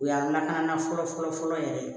O y'a lakana fɔlɔ fɔlɔ yɛrɛ ye